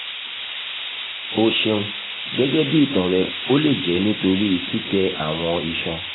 o ṣeun gẹgẹbi itan rẹ o le jẹ nitori titẹ awọn iṣan